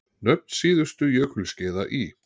Nöfn síðustu jökulskeiða í